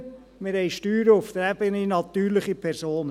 Wir haben Steuern auf der Ebene der natürlichen Personen.